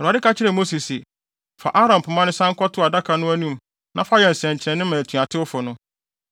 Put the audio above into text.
Awurade ka kyerɛɛ Mose se, “Fa Aaron pema no san kɔto adaka no anim na fa yɛ nsɛnkyerɛnne ma atuatewfo no.